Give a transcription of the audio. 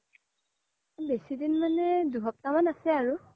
বেচি দিন মানে দুই সপ্তহ মান আছে আৰু